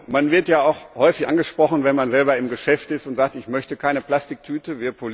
Man wird ja auch häufig angesprochen, wenn man selber im Geschäft ist und sagt Ich möchte keine Plastiktüte.